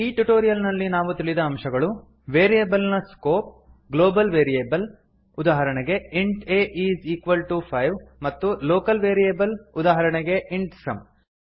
ಈ ಟ್ಯುಟೋರಿಯಲ್ ನಲ್ಲಿ ನಾವು ತಿಳಿದ ಅಂಶಗಳು ವೇರಿಯೇಬಲ್ ನ ಸ್ಕೋಪ್ ಗ್ಲೋಬಲ್ ವೇರಿಯೇಬಲ್ ಉದಾಹರಣೆ ಗೆ int a is equal to five ಮತ್ತು ಲೋಕಲ್ ವೇರಿಯೇಬಲ್ ಉದಾಹರಣೆಗೆ ಇಂಟ್ ಸಮ್